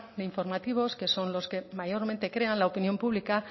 de informativos que son los que mayormente crean la opinión pública